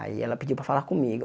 Aí, ela pediu para falar comigo.